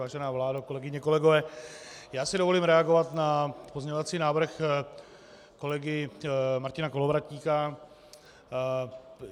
Vážená vládo, kolegyně, kolegové, já si dovolím reagovat na pozměňovací návrh kolegy Martina Kolovratníka.